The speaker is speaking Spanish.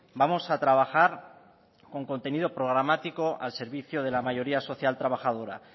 vamos a trabajar con contenido programático al servicio de la mayoría social trabajadora